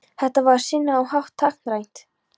Þetta var á sinn hátt táknrænt